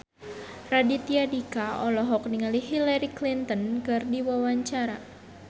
Raditya Dika olohok ningali Hillary Clinton keur diwawancara